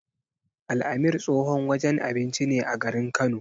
Al-amir tsohon wajen abinci ne a garin Kano.